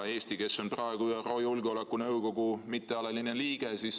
Eesti on praegu ÜRO Julgeolekunõukogu mittealaline liige.